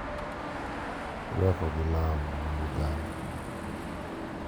Irwako gi lamo mag oganda,